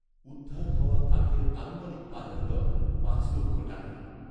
উদ্ধার হওয়া কাঠের আনুমানিক বাজারদর পাঁচ লক্ষ টাকা।